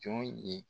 Jɔn ye